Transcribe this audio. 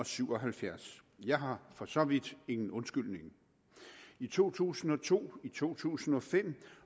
syv og halvfjerds jeg har for så vidt ingen undskyldninger i to tusind og to to tusind og fem